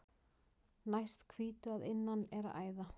Næst hvítu að innan er æða.